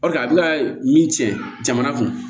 Ɔ a bɛna min tiɲɛ jamana kun